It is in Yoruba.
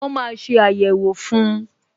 Wọn máa ṣe ayẹwo fun